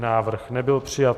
Návrh nebyl přijat.